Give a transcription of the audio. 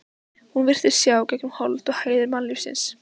Hún virtist sjá gegnum holt og hæðir mannlífsins.